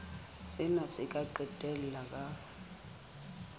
sena se ka qetella ka